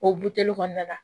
O buteli kɔnɔna la